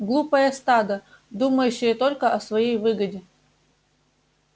глупое стадо думающее только о своей выгоде